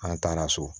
An taara so